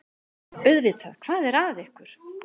Auðvitað, hvað er að ykkur?